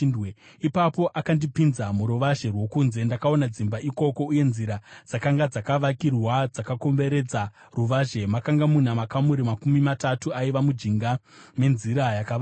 Ipapo akandipinza muruvazhe rwokunze. Ndakaona dzimba ikoko uye nzira dzakanga dzakavakirwa dzakakomberedza ruvazhe; makanga muna makamuri makumi matatu aiva mujinga menzira yakavakirwa.